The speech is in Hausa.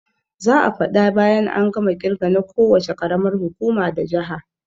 Za'a faɗa bayan an gama kirge na ko wuce karamar hukuma da jaha